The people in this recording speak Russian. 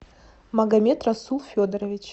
магомедрасул федорович